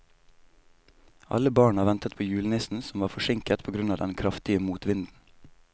Alle barna ventet på julenissen, som var forsinket på grunn av den kraftige motvinden.